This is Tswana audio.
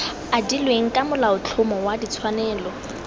adilweng ka molaotlhomo wa ditshwanelo